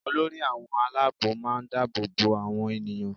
Olórí àwọn aláàbò máa ń dáàbò bo àwọn ènìyàn